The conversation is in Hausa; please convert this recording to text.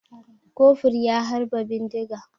Kofur ya harba bindiga.